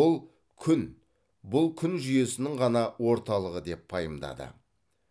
ал күн бұл күн жүйесінің ғана орталығы деп пайымдады